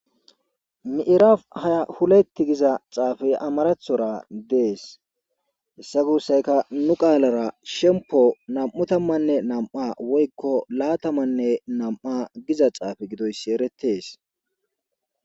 miiraf haya huletti giza xaafey amarathora dees hessa guussayka nu qaalara shempo nam7u tammanne nam7a woykko laatamanne nam7a giza xaafe gidoyssi eretees